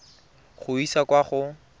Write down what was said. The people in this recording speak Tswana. go e isa kwa go